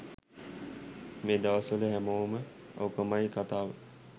මේ දවස්වල හැමෝම ඕකමයි කතාව